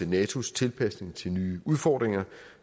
natos tilpasning til nye udfordringer